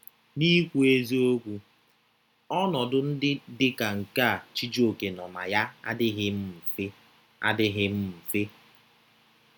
N’ikwu eziokwu, ọnọdụ ndị dị ka nke a Chijioke nọ na ya adịghị mfe. adịghị mfe.